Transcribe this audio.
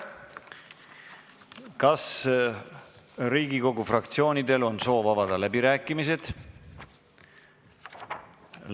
Kas Riigikogu fraktsioonidel on soovi avada läbirääkimisi?